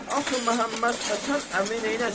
Axı Məhəmməd Həsən əmi neyləsin?